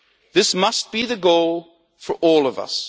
This must be the goal for all of us.